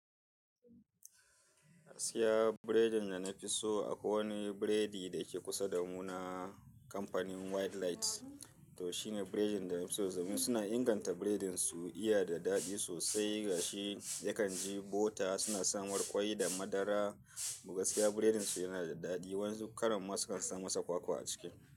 Gaskiya biredin da nafi so akwai wani biredi da ke kusa da mu na kamfanin White Light. To shine biredin da nafi so. Domin suna inganta biredin su, iya da daɗi sosai, gashi yakan ji bota suna samar ƙwai da madara. To gaskiya biredin su yana da daɗi. Waƴansu karan ma sukan sa masa kwakwa a cikin.